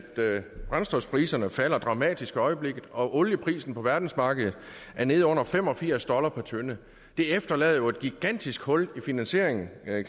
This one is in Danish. brændstofpriserne falder dramatisk i øjeblikket og olieprisen på verdensmarkedet er nede under fem og firs dollar per tønde det efterlader jo et gigantisk hul i finansieringen